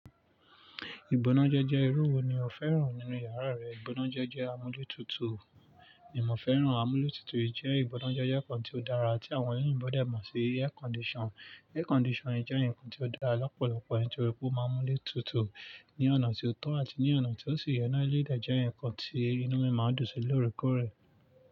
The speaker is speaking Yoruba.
Ìgbónájẹ́ jẹ́ irú wo ni o fẹ́ràn nínú yàrá rẹ? Ìtànà jẹ̀jẹ̀ amọ́jútútù. Ní mo fẹ́ràn amọ́lútútù yì jẹ́ ìtànà jẹ̀jẹ̀ kan tí ó dára tí àwọn oyìnbó dé mo sí air conditioner. Air condition. Air condition jẹ́ nǹkan tí ó dára lọ́pọ̀lọpọ̀ nìtorí pé ó máa ń mú lé tutù ní ọ̀nà tí ó tọ́ àti ní ọ̀nà tí ó sì yẹ ná, eléèyí dè jẹ́ nǹkan tí inú mi máa dùn sí lóòrèkóò rẹ.